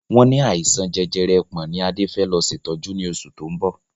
Wọn ní àìsàn jẹjẹrẹ ẹpọ̀n ni Adé fẹ lọ ṣètọ́jú ni oṣù to ń bọ̀